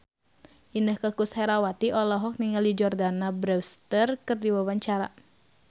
Inneke Koesherawati olohok ningali Jordana Brewster keur diwawancara